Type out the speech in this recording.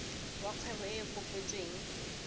wa kgwebo e e kopetsweng